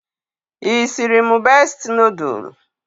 Isiri mụ besti noodul?